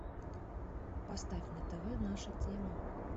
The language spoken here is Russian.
поставь на тв наша тема